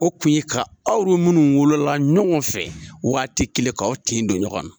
O tun ye ka aw yɛrɛ munnu wolola ɲɔgɔn fɛ, waati kelen kaw tin don ɲɔgɔn na.